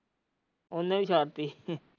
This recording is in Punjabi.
ਉਹਨੇ ਹੀ